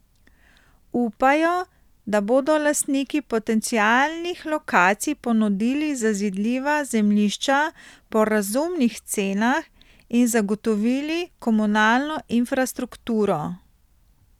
Upajo, da bodo lastniki potencialnih lokacij ponudili zazidljiva zemljišča po razumnih cenah in zagotovili komunalno infrastrukturo.